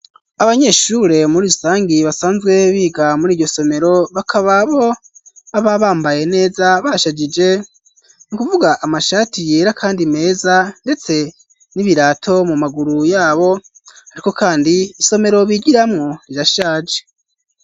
Abanyeshure muri rusangi basanzwe biga muri iryo somero bakaba bo baba bambaye neza bashajije, ni kuvuga amashati yera kandi meza ndetse n'ibirato mu maguru yabo, ariko kandi isomero bigiramwo rirashaje.